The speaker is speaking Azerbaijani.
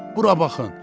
Bura baxın!